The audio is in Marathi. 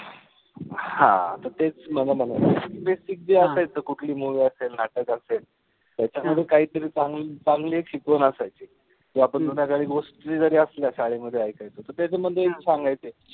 हा त तेच माझं कि ते असायचं कुठली movie असेल, नाटक असेल. त्याच्यामध्ये काहीतरी चांगली चांगली एक शिकवण असायची. जे आपण जुन्या काळी तरी असल्या शाळेमध्ये ऐकायचो. त त्याच्यामध्ये सांगायचे.